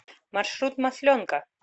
маршрут масленка